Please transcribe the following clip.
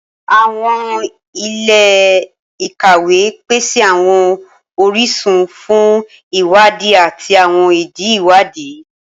Awọn ile-ikawe pese awọn orisun fun iwadi ati awọn idi iwadi.